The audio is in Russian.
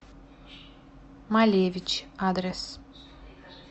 малевич адрес